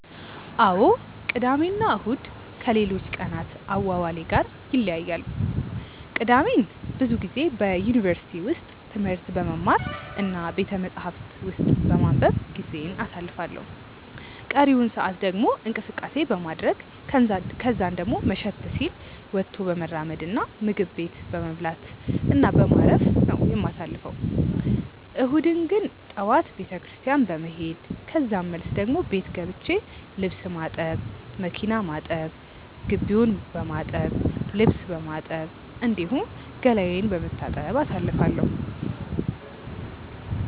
አዎ ቅዳሜ እና እሁድ ከሌሎች ቀናት አዋዋሌ ጋር ይለያያሉ። ቅዳሜን ብዙ ጊዜ በዩኒቨርሲቲ ውስጥ ትምህርት በመማር እና ቤተመጻሕፍት ውስጥ በማንበብ ጊዜዬን አሳልፋለሁ ቀሪውን ሰአት ደግሞ እንቅስቀሴ በማድረረግ ከዛን ደሞ መሸት ሲል ወጥቶ በመራመድ እና ምግብ ቤት በመብላት እና በማረፍ በማረፍ ነው የማሳልፈው። እሁድን ግን ጠዋት ቤተክርስትያን በመሄድ ከዛን መልስ ደሞ ቤት ገብቼ ልብስ ማጠብ፣ መኪና ማጠብ፣ ግቢውን በማጠብ፣ ልብስ በማጠብ፣ እንዲሁም ገላዬን በመታጠብ አሳልፋለሁ።